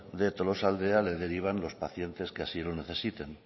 de tolosaldea le derivan los pacientes que así lo necesiten